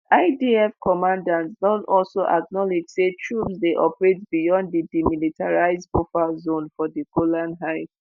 idf commanders don also acknowledge say troops dey operate beyond di demilitarised buffer zone for di golan heights